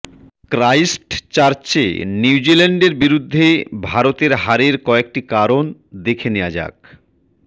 ক্রাইস্টচার্চে নিউজিল্যান্ডের বিরুদ্ধে ভারতের হারের কয়েকটি কারণ দেখে নেওয়া যাক